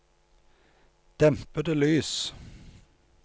dempede lys